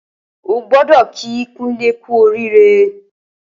Ó gbọdọ kí Kunle kù óriré